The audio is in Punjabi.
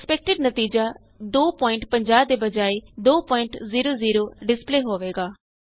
ਐਕਸਪੈਕਟਡ ਨਤੀਜਾ 250 ਦੇ ਬਜਾਏ 200 ਡਿਸਪਲੈ ਹੋਏਗਾ